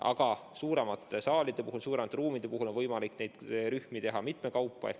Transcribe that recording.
Aga suuremate saalide puhul, suuremate ruumide puhul on võimalik neid rühmi rohkem ära mahutada, mitmekaupa.